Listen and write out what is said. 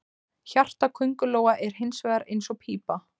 Hjarta köngulóa er hins vegar eins og pípa.